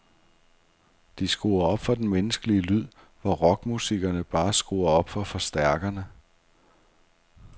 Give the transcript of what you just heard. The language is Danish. De skruer op for den menneskelige lyd, hvor rockmusikerne bare skruer op for forstærkerne.